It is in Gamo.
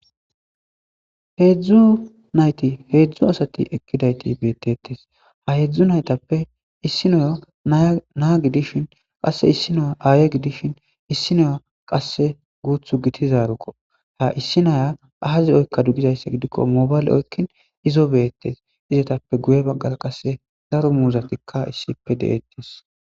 Heedzdzu nayti heedzdzu asati ekkidayti beettettes ha heedzdzu naytappe issinoyo naa gidishin qasse issinoya aaye gidishin issi noya qasse guuthu gitizarukko ha issi naya aazi oykka dugizayssa gidikko mobayle oykkin izo beettes izetappe guye baggala qasse zaro muuzatikka issipe deeettes.